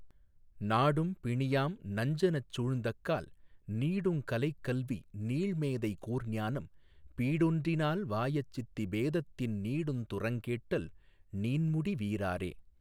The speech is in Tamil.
நாடும் பிணியாம் நஞ்சனஞ் சூழ்ந்தக்கால் நீடுங் கலைகல்வி நீள்மேதை கூர்ஞானம் பீடொன்றினால்வாயாச்சித்தி பேதத்தின் நீடுந்துரங்கேட்டல் நீண்முடி வீராறே.